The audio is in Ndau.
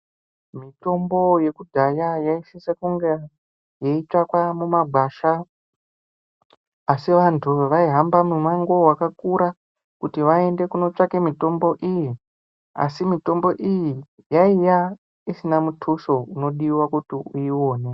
Mitombo yekudhaya yaisise kunge yeitsvakwa mumagwasha. Asi vantu vaihamba mumango vakakura kuti vaende kunotsvaka mitombo iyi. Asi mitombo iyi yaiya isina mutuso unodiva kuti uione.